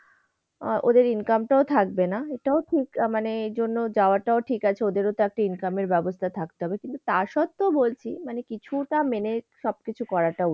আহ ওদের income টাও থাকবে না। এটাও ঠিক মানে এজন্য যাওয়াটা ঠিক আছে, ওদেরওতো একটা income এর ব্যবস্থা থাকতে হবে। কিন্তু তার সত্বেও বলছি মানে কিছুটা মেনে সবকিছু করাটা উচিত।